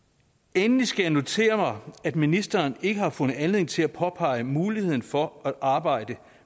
endelig skal jeg notere at ministeren ikke har fundet anledning til at påpege muligheden for at arbejde